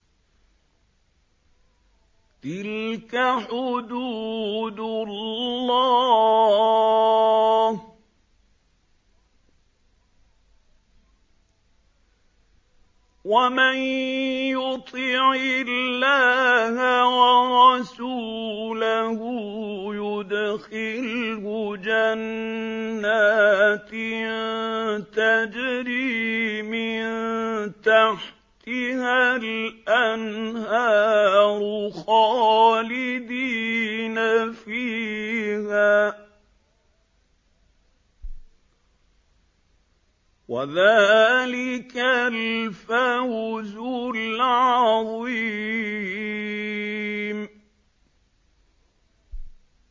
تِلْكَ حُدُودُ اللَّهِ ۚ وَمَن يُطِعِ اللَّهَ وَرَسُولَهُ يُدْخِلْهُ جَنَّاتٍ تَجْرِي مِن تَحْتِهَا الْأَنْهَارُ خَالِدِينَ فِيهَا ۚ وَذَٰلِكَ الْفَوْزُ الْعَظِيمُ